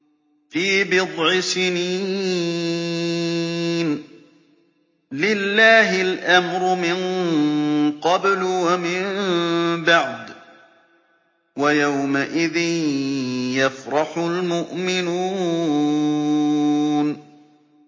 فِي بِضْعِ سِنِينَ ۗ لِلَّهِ الْأَمْرُ مِن قَبْلُ وَمِن بَعْدُ ۚ وَيَوْمَئِذٍ يَفْرَحُ الْمُؤْمِنُونَ